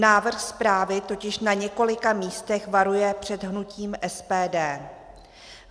Návrh zprávy totiž na několika místech varuje před hnutím SPD.